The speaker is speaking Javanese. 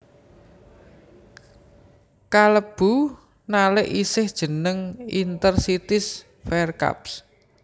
Kalebu nalik isih jeneng Inter Cities Fairs Cup